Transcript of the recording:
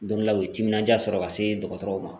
Don dɔ la u ye timinanja sɔrɔ ka se dɔgɔtɔrɔw ma